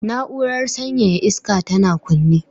Na'urar sanyaya iska tana kunne